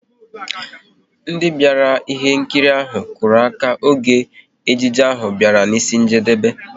Ndị bịara ihe nkiri ahụ, kụrụ aka oge ejije ahụ bịara n'isi njedebe